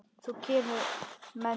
Þá kemurðu með mér heim.